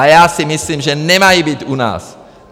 A já si myslím, že nemají být u nás!